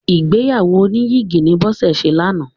Ìgbéyàwó oníyìgì ni Bọ́sẹ̀ ṣe lánàá.